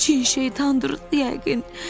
Çin şeytandır yəqin.